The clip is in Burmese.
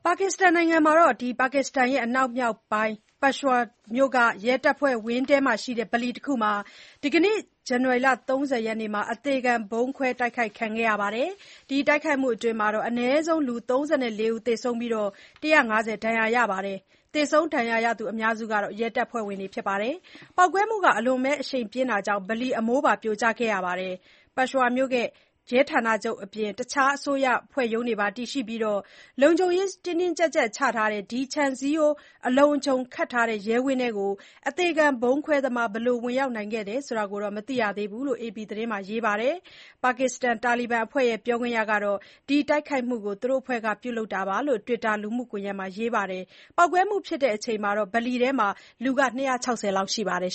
ါကစ္စတန်နိုင်ငံ အနောက်မြောက်ပိုင်း ပက်ရွှာဝါ (Peshawar) မြို့က ရဲတပ်ဖွဲ့ဝင်းထဲမှာရှိတဲ့ ဗလီတစ်ခုမှာ ဒီကနေ့ ဇန်နဝါရီ ၃၀ ရက်နေ့မှာ အသေခံဗုံးခွဲ တိုက်ခိုက်ခဲ့တဲ့အတွက် အနည်းဆုံး လူ ၃၄ ဦး သေဆုံးပြီး ၁၅၀ ဒဏ်ရာရသွားပါတယ်။ သေဆုံး ဒဏ်ရာရသူ အများစုဟာ ရဲတပ်ဖွဲ့ဝင်တွေဖြစ်တယ်လို့ ဆိုပါတယ်။ ပေါက်ကွဲမှု အရှိန်ပြင်းတာကြောင့် ဗလီအမိုးပါ ပြိုကျခဲ့တယ်လို့ ဆိုပါတယ်။ ပက်ရွှာဝါမြို့ ရဲဌာနချုပ်အပြင် တခြား အစိုးရအဖွဲ့ရုံးတွေပါ တည်ရှိပြီး လုံခြုံရေးတွေ တင်းကြပ်စွာချထားတဲ့ ဒီ ခြံစည်းရိုး အလုံအခြုံ ခတ်ထားတဲ့ ရဲဝင်းထဲကို အသေခံဗုံးခွဲသမား ဘယ်လို ဝင်ရောက်နိုင်ခဲ့တယ်ဆိုတာတော့ မသိရသေးဘူးလို့ အေပီသတင်းမှာ ရေးပါတယ်။ ပါကစ္စတန် တာလီဘန်အဖွဲ့ရဲ့ ပြောခွင့်ရ Sarbakaf Mohmand ကတော့ ဒီတိုက်ခိုက်မှုကို သူတို့အဖွဲ့က ပြုလုပ်ခဲ့တာလို့ Twitter လူမှုကွန်ယက်မှာ ရေးပါတယ်။ ပေါက်ကွဲမှုဖြစ်တဲ့အချိန် ဗလီထဲမှာ လူ ၂၆၀ လောက်ရှိတယ်